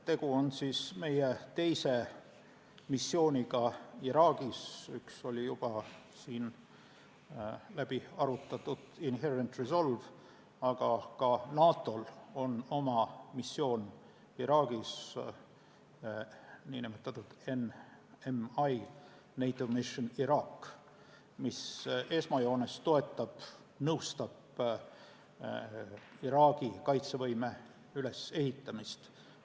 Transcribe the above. Tegu on meie teise missiooniga Iraagis, üks oli juba siin läbi arutatud Inherent Resolve, aga ka NATO-l on oma missioon Iraagis, nn NMI , mis esmajoones toetab ja nõustab Iraagi kaitsevõime ülesehitamist.